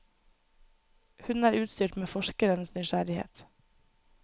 Hun er utstyrt med forskerens nysgjerrighet.